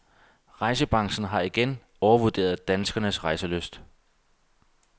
Rejsebranchen har igen overvurderet danskernes rejselyst.